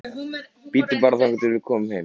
Bíddu bara þangað til við komum heim.